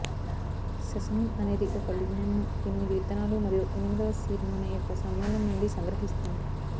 sesamin అనేది ఒక lignan ను ఎనిమిది విత్తనాలు మరియు ఎనిమిదవ సీడ్ నూనె యొక్క సమ్మేళనం నుండి సంగ్రహిస్తుంది